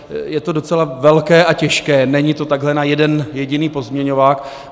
Je to docela velké a těžké, není to takhle na jeden jediný pozměňovák.